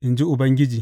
in ji Ubangiji.